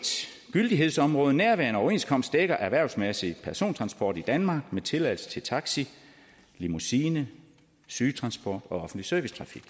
gyldighedsområde nærværende overenskomst dækker erhvervsmæssig persontransport i danmark med tilladelse til taxi limousine sygetransport og offentlig servicetrafik